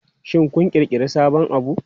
Shin kun ƙirƙiri sabon abu?